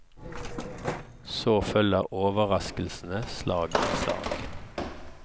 Så følger overraskelsene slag i slag.